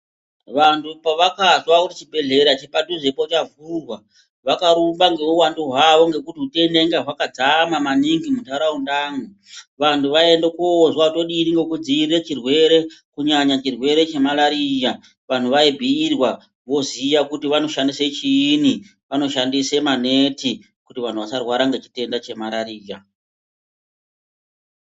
Vantu pavakazwa kuti chibhedhlera chepadhuzepo chavhurwa, vakarumba ngeuwandu hwavo ngekuti utenda inga hwakazara maningi muntaraundamwo. Vantu vaiende koudzwa kuti todii ngokudziirire chirwere, kunyanya chirwere chemalariya. Vanhu vaibhuyirwa voziya kuti vanoshandise chiini, vanoshandise maneti kuti vantu vasarwara ngechitenda chemarariya.